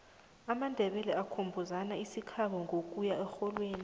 amandebele akhumbuzana isikhabo ngokuya erholweni